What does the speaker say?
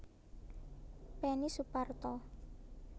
Peni Suparto